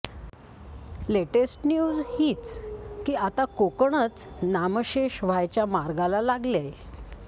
latest news हीच की आता कोकणच नामशेष व्हायच्या मार्गाला लागलेय